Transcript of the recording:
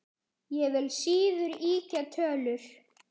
Ég vil síður ýkja tölur.